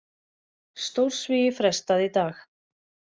Stórsvigi frestað í dag